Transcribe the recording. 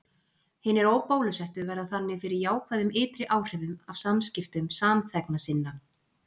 hinir óbólusettu verða þannig fyrir jákvæðum ytri áhrifum af samskiptum samþegna sinna